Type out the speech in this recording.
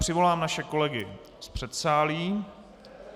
Přivolám naše kolegy z předsálí.